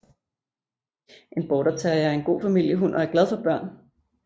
En Border terrier er en god familiehund og er glad for børn